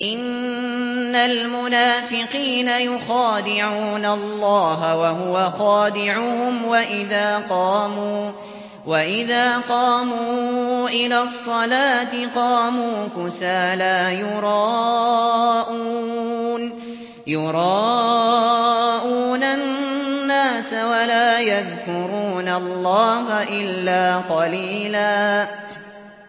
إِنَّ الْمُنَافِقِينَ يُخَادِعُونَ اللَّهَ وَهُوَ خَادِعُهُمْ وَإِذَا قَامُوا إِلَى الصَّلَاةِ قَامُوا كُسَالَىٰ يُرَاءُونَ النَّاسَ وَلَا يَذْكُرُونَ اللَّهَ إِلَّا قَلِيلًا